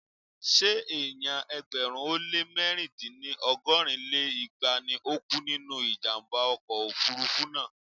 Ṣé èèyàn ẹgbẹ̀rún ó lé mẹ̀rin dín ní ọgọ́rin lé igba ni ó kú nínú ìjàmbá ọkọ̀ òfurufú náà?